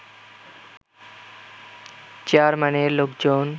চেয়ারম্যানের লোকজন